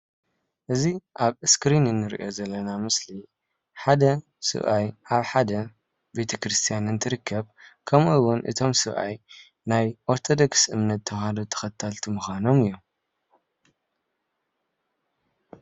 እዚ ኣብ እስክሪን እንሪኦ ዘለና ምስሊ ሓደ ሰብኣይ ኣብ ሓደ ቤተ ክርስትያን እትርከብ ከምኡውን እቶም ሰብኣይ ናይ ኦርቶዶክስ እምነት ተዋህዶ ተከተልቲ ምካኖም እዩ፡፡